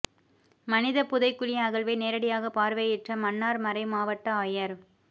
மனித புதை குழி அகழ்வை நேரடியாக பார்வையிட்ட மன்னார் மறை மாவட்ட ஆயர்